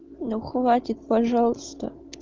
ну хватит пожалуйста